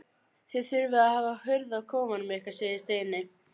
Þið þurfið að hafa hurð á kofanum ykkar segir Steini.